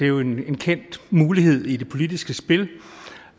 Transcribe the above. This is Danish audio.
jo en kendt mulighed i det politiske spil